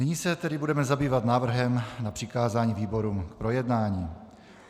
Nyní se tedy budeme zabývat návrhem na přikázání výborům k projednání.